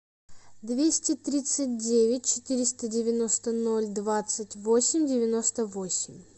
двести тридцать девять четыреста девяносто ноль двадцать восемь девяносто восемь